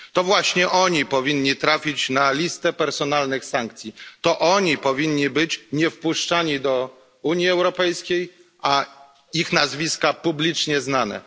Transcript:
To właśnie oni powinni trafić na listę personalnych sankcji, to oni nie powinni być wpuszczani do Unii Europejskiej, a ich nazwiska powinny być publicznie znane.